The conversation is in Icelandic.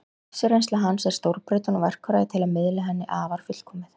Lífsreynsla hans er stórbrotin og verkfærið til að miðla henni afar fullkomið.